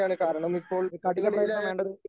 ഒരു ഒരു കഠിനപ്രയത്നം വേണ്ട